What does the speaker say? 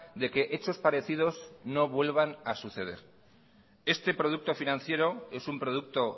de que hechos parecidos no vuelvan a suceder este producto financiero es un producto